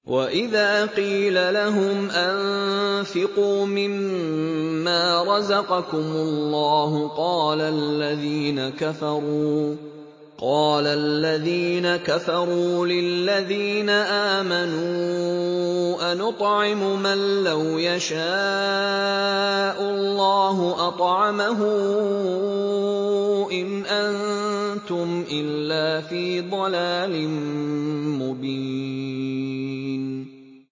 وَإِذَا قِيلَ لَهُمْ أَنفِقُوا مِمَّا رَزَقَكُمُ اللَّهُ قَالَ الَّذِينَ كَفَرُوا لِلَّذِينَ آمَنُوا أَنُطْعِمُ مَن لَّوْ يَشَاءُ اللَّهُ أَطْعَمَهُ إِنْ أَنتُمْ إِلَّا فِي ضَلَالٍ مُّبِينٍ